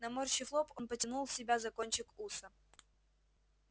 наморщив лоб он потянул себя за кончик уса